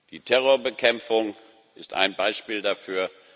Die Terrorbekämpfung ist ein Beispiel dafür.